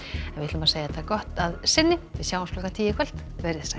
en við segjum þetta gott að sinni sjáumst klukkan tíu veriði sæl